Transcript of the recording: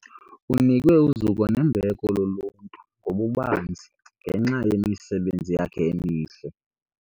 Unikwe uzuko nembeko luluntu ngokubanzi ngenxa yemisebenzi yakhe emihle.